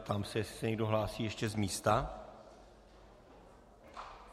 Ptám se, jestli se někdo hlásí ještě z místa.